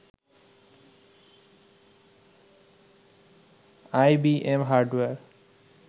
IBM hardware